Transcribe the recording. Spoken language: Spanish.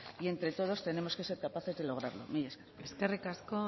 y entre todos tenemos que ser capaces de lograrlo mila esker eskerrik asko